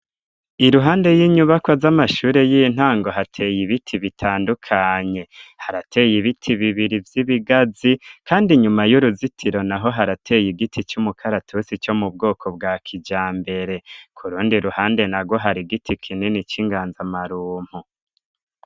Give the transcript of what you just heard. Iruhande y'inyubakwa z'amashure y'intango, hateye ibiti bitandukanye: harateye ibiti bibiri vy'ibigazi, kandi inyuma y'uruzitiro naho harateye igiti c'umukaratusi co mu bwoko bwa kijambere. Ku rundi ruhande narwo hari igiti kinini c'inganzamarumpu.